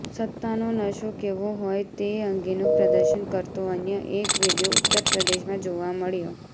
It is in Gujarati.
સત્તાનો નશો કેવો હોય તે અંગેનું પ્રદર્શન કરતો અન્ય એક વીડિયો ઉત્તરપ્રદેશમાં જોવા મળ્યો